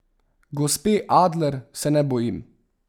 Gospe Adler se ne bojim.